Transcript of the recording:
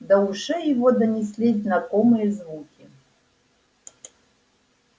до ушей его донеслись знакомые звуки